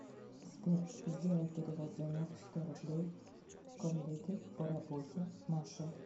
сбер сделай перевод денег сто рублей коллеге по работе маше